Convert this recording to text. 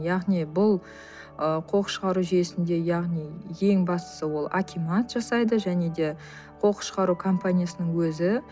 яғни бұл ы қоқыс шығару жүйесінде яғни ең бастысы ол акимат жасайды және де қоқыс шығару компаниясының өзі